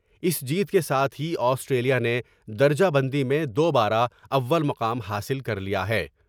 اس جیت کے ساتھ ہی آسٹریلیاء نے درجہ بندی میں دو با رہ اول مقام حاصل کر لیا ہے ۔